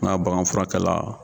N'a bagan furakɛla